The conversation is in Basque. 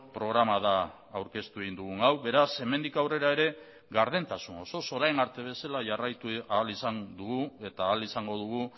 programa da aurkeztu egin dugun hau beraz hemendik aurrera ere gardentasun osoz orain arte bezala jarraitu ahal izan dugu eta ahal izango dugu